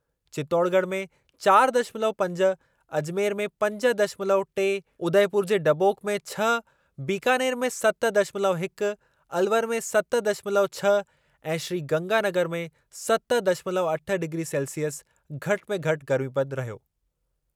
चित्तौड़गढ़ में चारि दशमलव पंज, अजमेर में पंज दशमलव टे, उदयपुर जे डबोक में छह, बीकानेर में सत दशमलव हिकु, अलवर में सत दशमलव छह ऐं श्रीगंगानगर में सत दशमलव अठ डिग्री सेल्सिअस घटि में घटि गर्मीपदु रहियो।